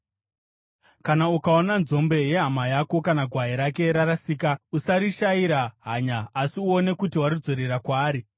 Kana ukaona nzombe yehama yako kana gwai rake rarasika, usarishayira hanya asi uone kuti waridzorera kwaari.